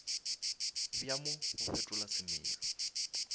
bja mo bo fetola semelo